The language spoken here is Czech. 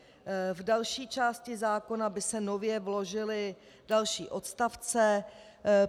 V další části zákona by se nově vložily další odstavce.